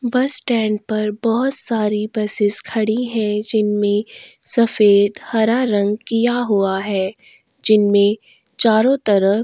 बस स्टैंड पर बहुत सारी बसेस खड़ी है जिनमें सफेद हरा रंग किया हुआ है जिनमें चारों तरफ --